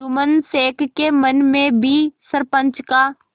जुम्मन शेख के मन में भी सरपंच का